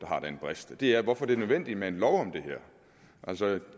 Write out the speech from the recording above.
har den brist og det er hvorfor det er nødvendigt med en lov om det her altså